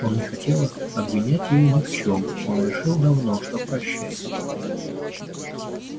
он не хотел обвинять её ни в чём он решил давно что прощает её